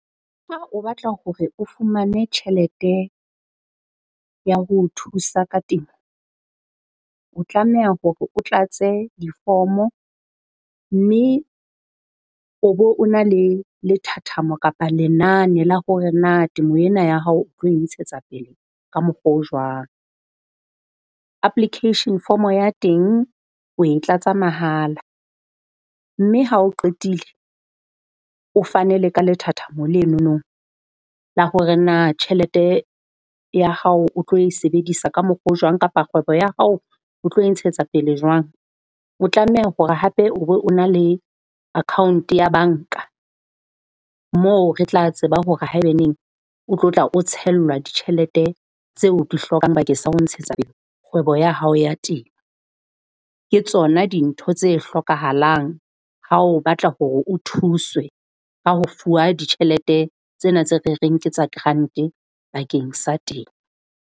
Ha o batla hore o fumane tjhelete ya ho thusa ka temo, o tlameha hore o tlatse difomo mme o bo o na le lethathamo kapa lenane la hore na temo ena ya hao o tlo e ntshetsa pele ka mokgwa o jwang. Application form ya teng o e tlatsa mahala. Mme ha o qetile o fane le ka lethathamo lenono la hore na tjhelete ya hao o tlo e sebedisa ka mokgwa o jwang kapa kgwebo ya hao o tlo e ntshetsa pele jwang? O tlameha hore hape o be o na le account ya banka, mo re tla tseba hore haebaneng o tlo tla o tshellwa ditjhelete tse o di hlokang bakeng sa ho ntshetsa pele kgwebo ya hao ya temo. Ke tsona dintho tse hlokahalang ha o batla hore o thuswe ka ho fuwa ditjhelete tsena tse re reng ke tsa grant-e bakeng sa temo.